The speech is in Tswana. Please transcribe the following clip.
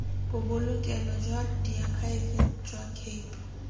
bobolokelo jwa diakhaefe jwa cape